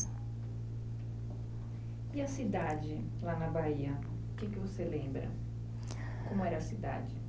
E a cidade, lá na Bahia, o que que você lembra? Como era a cidade?